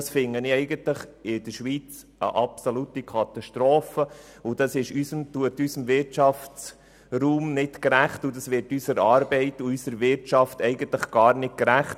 Dies finde ich für die Schweiz eine absolute Katastrophe und dies wird unserer Arbeit und unserer Wirtschaft nicht gerecht.